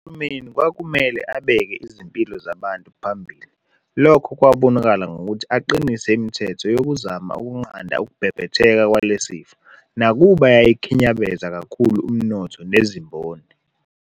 Uhulumeni kwakumele abeke izimpilo zabantu phambili lokho kwabonakala ngokuthi aqinise imithetho yokuzama ukunqanda ukubhebhetheka kwalesi sifo nakuba yayikukhinyabeza kakhulu umnotho nezimboni.